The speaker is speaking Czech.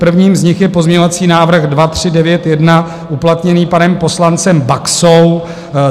Prvním z nich je pozměňovací návrh 2391 uplatněný panem poslancem Baxou.